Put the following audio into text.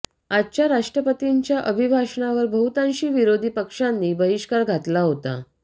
आजच्या राष्ट्रपतींच्या अभिभाषणावर बहुतांशी विरोधी पक्षांनी बहिष्कार घातला होता